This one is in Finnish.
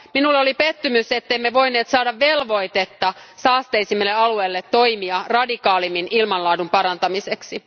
Minulle oli pettymys, ettemme voineet saada velvoitetta saasteisimmille alueille toimia radikaalimmin ilmanlaadun parantamiseksi.